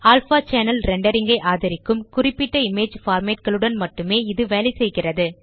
alpha channel rendering ஐ ஆதரிக்கும் குறிப்பிட்ட இமேஜ் பார்மேட் களுடன் மட்டுமே இது வேலைசெய்கிறது